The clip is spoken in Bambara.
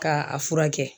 K'a a furakɛ